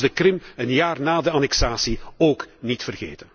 Maar laat ons de Krim, een jaar na de annexatie, ook niet vergeten!